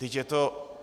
Vždyť je to...